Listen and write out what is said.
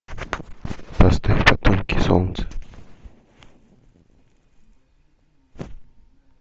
поставь потомки солнца